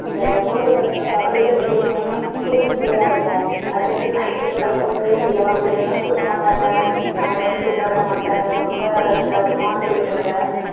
இந்த கோடை காலத்துல காலையில வெளிய போனாலே அவ்வளவு சூடா இருக்கும். அதே மாதிரி night full ஆ தூங்கவே முடியாம, பிள்ளைங்களும் தூங்க மாட்டாங்க நம்மளையும் தூங்க விட மாட்டாங்க. ரொம்ப rush ஆ ஒரு மாதிரி இருக்கும்ல.